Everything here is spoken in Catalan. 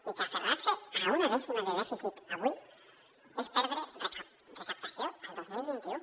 i que aferrar se a una dècima de dèficit avui és perdre recaptació el dos mil vint u